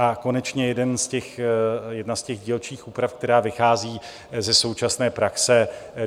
A konečně jedna z těch dílčích úprav, která vychází ze současné praxe.